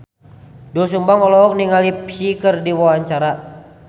Doel Sumbang olohok ningali Psy keur diwawancara